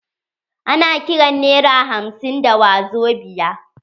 Ana kiran nera hamsin da wazobia.